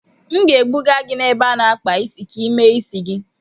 M ga-ebuga gị n'ebe a na-akpa isi ka ị mee isi gị.